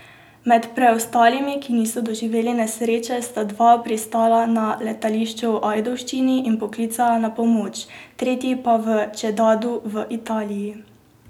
Med preostalimi, ki niso doživeli nesreče, sta dva pristala na letališču v Ajdovščini in poklicala na pomoč, tretji pa v Čedadu v Italiji.